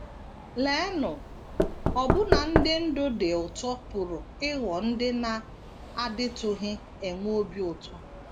Leenụ, ọbụna ndị ndụ dị ụtọ pụrụ ịghọ ndị na - adịtụghị enwe obi ụtọ!